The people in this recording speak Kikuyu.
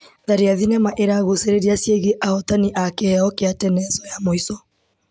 Tharia thinema ĩragucĩrĩria ciĩgiĩ ahotani a kĩheo kia tenezũ ya muico .